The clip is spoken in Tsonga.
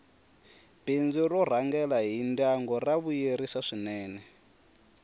bindzu r rhangela hi ndyangu ra vuyisela swinene